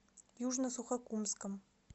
южно сухокумском